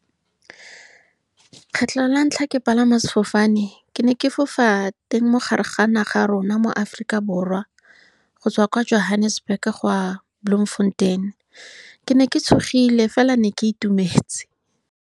Lekgetlo la ntlha, ke palama sefofane. Ke ne ke fofa teng mogare ga naga ya rona mo Aforika Borwa, go tswa kwa Johannesburg go ya Bloemfontein. Ke ne ke tshogile, fela ke ne ke itumetse.